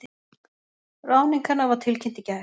Ráðning hennar var tilkynnt í gær